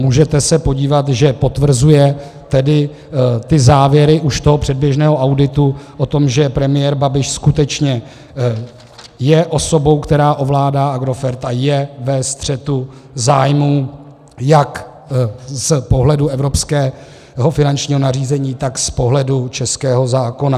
Můžete se podívat, že potvrzuje tedy závěry už toho předběžného auditu o tom, že premiér Babiš skutečně je osobou, která ovládá Agrofert a je ve střetu zájmů jak z pohledu evropského finančního nařízení, tak z pohledu českého zákona.